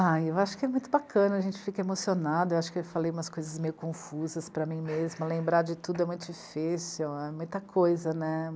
Ah, eu acho que é muito bacana, a gente fica emocionado, eu acho que eu falei umas coisas meio confusas para mim mesma, lembrar de tudo é muito difícil, é muita coisa, né?